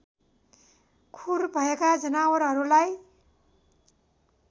खुर भएका जनावरहरूलाई